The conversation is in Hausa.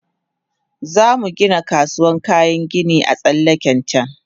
Zamu Gina kasuwan kayan gini a tsallaken can